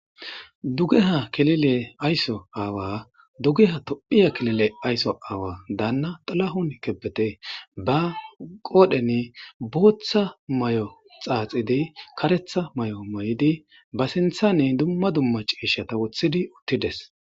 Dugeha kilile aso aawa dugeha tophiya kilile aso aawa Dana xila'on kebede ba qodhen botha mayo xaxidi karetha mayo Mayidi ba sinthan duma duma cishata wothidi uttides